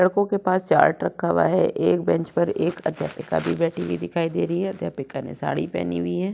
लड़कों के पास चार्ट रखा हुआ है एक बेंच पर एक अध्यापिका भी बैठी हुई दिखाई दे रही है अध्यापिका ने साड़ी पहनी हुई है।